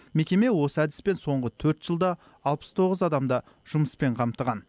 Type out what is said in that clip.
мекеме осы әдіспен соңғы төрт жылда алпыс тоғыз адамды жұмыспен қамтыған